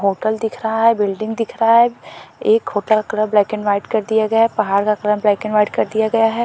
Hotel दिख रहा है बिल्डिंग दिख रहा है एक होटल का कल ब्लैक एंड वाइट कर दिया गया है पहाड़ का रंग ब्लैक एंड वाइट कर दिया गया है।